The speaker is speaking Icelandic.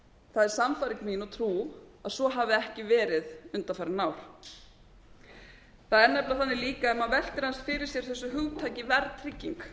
það er sannfæring mín og trú að svo hafi ekki verið undanfarin ár það er nefnilega þannig líka ef maður veltir líka aðeins fyrir sér þessu hugtaki verðtrygging